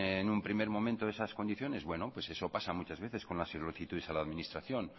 en un primer momento esas condiciones pues eso pasa muchas veces con las solicitudes a la administración